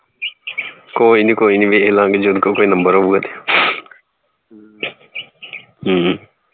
ਕੋਈ ਨੀ ਕੋਈ ਨੀ ਵੇਖਲਾਗੇ ਜੇ ਉਹ ਕੋਲ ਕੋਈ ਨੰਬਰ ਹੋਊਗਾ ਤੇ ਹਮ